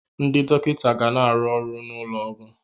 Ndị dọkịta ga na-arụ n'ụlọ ọgwụ.